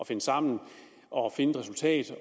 finde sammen og finde et resultat